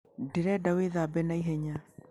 Ndĩrenda wĩthambe na ihenya.